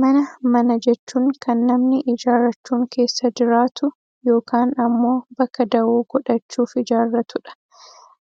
mana, mana jechuun kan namni ijaarrachuun keessa jiraatu yookaan ammoo baka dawoo godhachuuf ijaarratu dha.